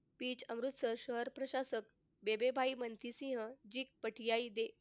अमृतसर शहर प्रशासक रणजीत सिंह